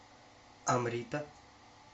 амрита